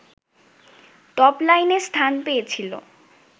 টপলাইনে স্থান পেয়েছিল